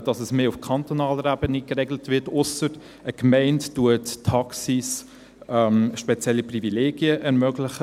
Dass es mehr auf kantonaler Ebene geregelt wird, ausser eine Gemeinde ermögliche spezielle Privilegien für Taxis.